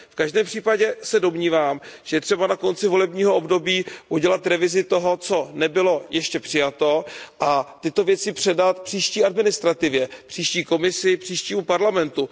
V každém případě se domnívám, že je třeba na konci volebního období udělat revizi toho, co nebylo ještě přijato, a tyto věci předat příští administrativě, příští Komisi, příštímu Parlamentu.